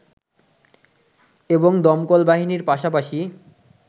এবং দমকল বাহিনীর পাশাপাশি